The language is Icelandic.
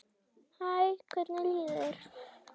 Hæ, hvernig líður þér?